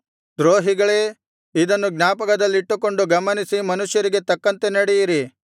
ದ್ರೋಹಿಗಳೇ ಇದನ್ನು ಜ್ಞಾಪಕದಲ್ಲಿಟ್ಟುಕೊಂಡು ಗಮನಿಸಿ ಮನುಷ್ಯರಿಗೆ ತಕ್ಕಂತೆ ನಡೆಯಿರಿ